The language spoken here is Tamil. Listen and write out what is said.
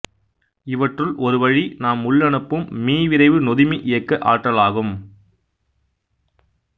இவற்றில் ஒருவழி நாம் உள்ளனுப்பும் மீவிரைவு நொதுமி இயக்க ஆற்றலாகும்